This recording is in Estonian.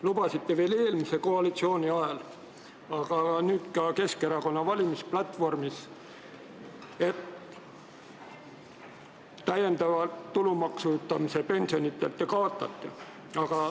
Lubasite veel eelmise koalitsiooni ajal, aga nüüd ka Keskerakonna valimisplatvormis, et te kaotate täiendava tulumaksu pensionitelt.